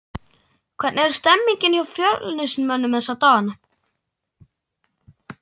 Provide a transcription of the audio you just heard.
Hvernig er stemningin hjá Fjölnismönnum þessa dagana?